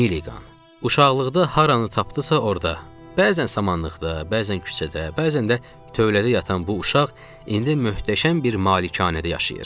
Milliqan, uşaqlıqda haranı tapdısa orda, bəzən samanlıqda, bəzən küçədə, bəzən də tövlədə yatan bu uşaq indi möhtəşəm bir malikanədə yaşayır.